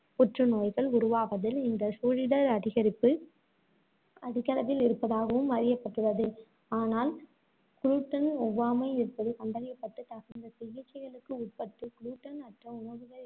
புற்றுநோய்கள் உருவாவதில் இந்த சூழிடர் அதிகரிப்பு அதிகளவில் இருப்பதாகவும் அறியப்பட்டுள்ளது. ஆனால், gluten ஒவ்வாமை இருப்பது கண்டறியப்பட்டு, தகுந்த சிகிச்சைகளுக்கு உட்பட்டு, gluten அற்ற உணவுகள்